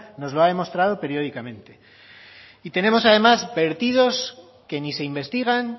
nos los ha demostrado periódicamente y tenemos además vertidos que ni se investigan